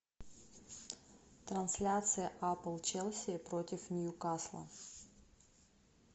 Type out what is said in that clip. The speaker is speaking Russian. трансляция апл челси против ньюкасла